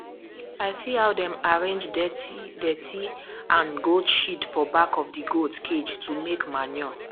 i see how dem arrange dirtydirty and goat sheet for back of the goat cage to make manure